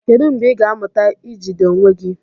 Kedu mgbe ị ga-amụta ijide onwe gị?